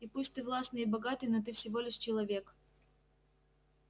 и пусть ты властный и богатый но ты всего лишь человек